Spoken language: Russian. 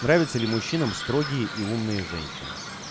нравится ли мужчинам строгие и умные женщины